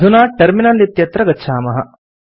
अधुना टर्मिनल इत्यत्र गच्छामः